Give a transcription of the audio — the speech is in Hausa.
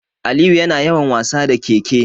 Aliyu yana yawan wasa da ƙeƙe.